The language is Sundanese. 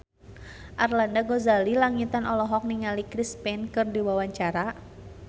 Arlanda Ghazali Langitan olohok ningali Chris Pane keur diwawancara